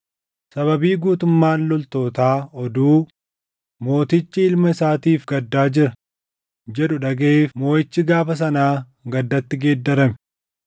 Sababii guutummaan loltootaa oduu, “Mootichi ilma isaatiif gaddaa jira” jedhu dhagaʼeef moʼichi gaafa sanaa gaddatti geeddarame.